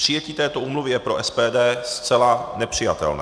Přijetí této úmluvy je pro SPD zcela nepřijatelné.